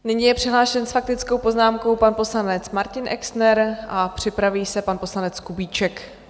Nyní je přihlášen s faktickou poznámkou pan poslanec Martin Exner a připraví se pan poslanec Kubíček.